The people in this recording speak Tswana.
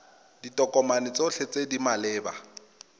ditokomane tsotlhe tse di maleba